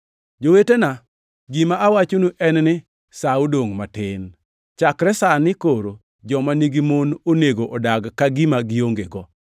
Jowetena, gima awachonu en ni sa odongʼ matin. Chakre sani koro joma nigi mon onego odag ka gima giongego;